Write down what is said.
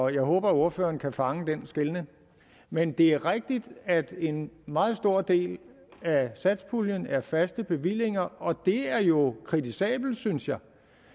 jeg håber at ordføreren kan fange den skelnen men det er rigtigt at en meget stor del af satspuljen er faste bevillinger og det er jo kritisabelt synes jeg